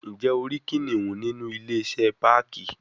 Njẹ o ri kiniun ninu ile-iṣẹ parki